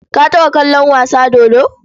Ka taɓa kallon wasa dodo?